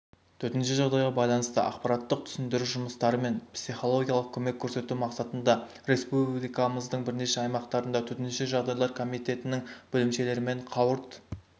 төтенше жағдайға байланысты ақпараттық-түсіндіру жұмыстары мен психологиялық көмек көрсету мақсатында республикамыздың бірнеше аймақтарында төтенше жағдайлар комитетінің бөлімшелерімен қауырт